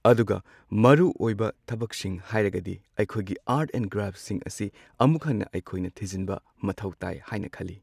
ꯑꯗꯨꯒ ꯃꯔꯨꯑꯣꯏꯕ ꯊꯕꯛꯁꯤꯡ ꯍꯥꯏꯔꯒꯗꯤ ꯑꯩꯈꯣꯏꯒꯤ ꯑꯥꯔꯠ ꯑꯦꯟ ꯀ꯭ꯔꯥꯐꯠꯁꯤꯡꯁꯤ ꯑꯃꯨꯛ ꯍꯟꯅ ꯑꯩꯈꯣꯏꯅ ꯊꯤꯖꯤꯟꯕ ꯃꯊꯧ ꯇꯥꯏ ꯍꯥꯏꯅ ꯈꯜꯂꯤ꯫